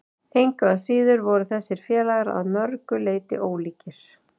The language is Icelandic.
Engu að síður voru þessir félagar að mörgu leyti ólíkir.